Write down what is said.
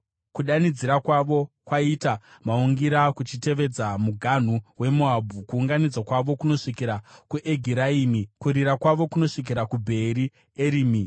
Kudanidzira kwavo kwaita maungira kuchitevedza muganhu weMoabhu; kuungudza kwavo kunosvikira kuEgiraimi, kuchema kwavo kunosvikira kuBheeri Erimi.